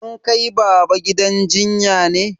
An kai baba gidan jinya ne?